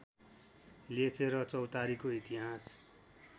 लेखेर चौतारीको इतिहास